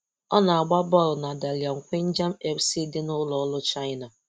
Ọ̀ na-agba bọ́ọlụ na Dalian Quanjian FC dị n’ụ̀lọ̀ọ̀rụ̀ China.